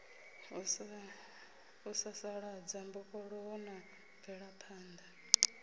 u sasaladza mbofholowo na mvelaphanḓa